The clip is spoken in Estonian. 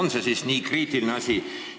Kas see on siis nii kriitiline asi?